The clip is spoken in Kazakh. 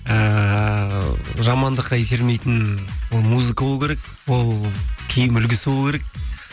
ыыы жамандыққа итермейтін ол музыка болу керек ол киім үлгісі болу керек